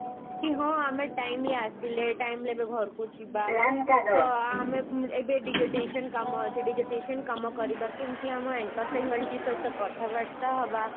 କି ହଁ ଆମେ timely ଆସିଲେ timely ରେ ବି ଘରକୁ ଯିବା ତ ଆମେ ଏବେ desolation କାମ ସେ desolation କାମ କରିବା କେମତି ଆମ anchor faculty ସହିତ କଥା ହେବା